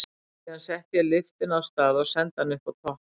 Síðan setti ég lyftuna af stað og sendi hana upp á topp.